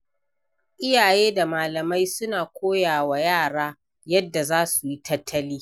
Iyaye da malamai suna koya wa yara yadda za su yi tattali.